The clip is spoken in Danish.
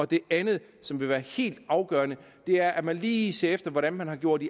det andet som vil være helt afgørende er at man lige ser efter hvordan man har gjort